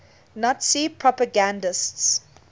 nazi propagandists